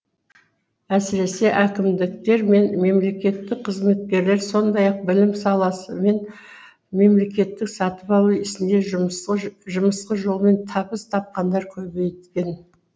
әсіресе әкімдіктер мен мемлекеттік қызметкерлер сондай ақ білім саласы мен мемлекеттік сатып алу ісінде жымысқы жолмен табыс табқандар көбейген